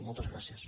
moltes gràcies